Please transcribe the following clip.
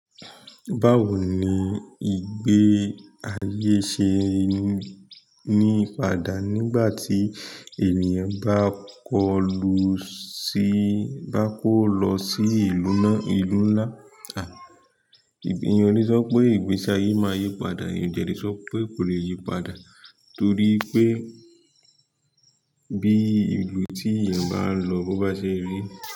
Báwo ni ìgbé ayé ṣe ní padà nígbà tí ènìyàn bá kó lọ sí ìlú náà ìlú ńlá? À eeyan o lè sọ pé ìgbésí ayé máa yípadà, eeyan o dẹ lè sọ pé kò lè yípadà torí pé bí ìlú tí èèyàn bá lọ bo bá ṣe rí.